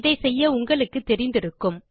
அதை செய்ய உங்களுக்கு தெரிந்திருக்கும்